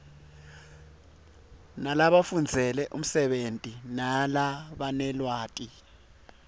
labafundzele umsebenti nalabanelwati